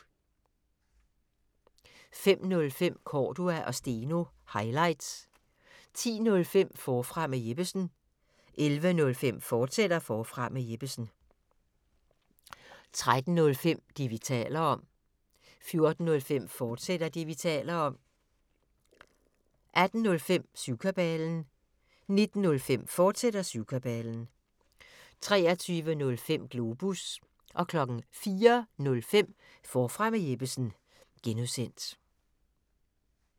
05:05: Cordua & Steno – highlights 10:05: Forfra med Jeppesen 11:05: Forfra med Jeppesen, fortsat 13:05: Det, vi taler om 14:05: Det, vi taler om, fortsat 18:05: Syvkabalen 19:05: Syvkabalen, fortsat 23:05: Globus 04:05: Forfra med Jeppesen (G)